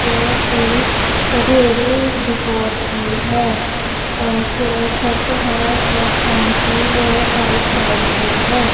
जोकि बड़ेरू डीपोट की है और जो छत है बस स्टैंड की वो वाइट कलर की है।